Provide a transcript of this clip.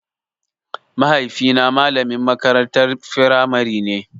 Mahaifi na malamin makarantar firamare ne